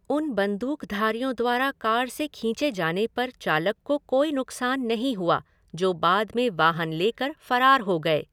उन बंदूकधारियों द्वारा कार से खींचे जाने पर चालक को कोई नुकसान नहीं हुआ, जो बाद में वाहन लेकर फरार हो गए।